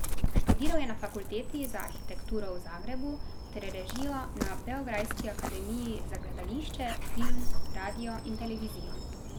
Študiral je na Fakulteti za arhitekturo v Zagrebu ter režijo na beograjski Akademiji za gledališče, film, radio in televizijo.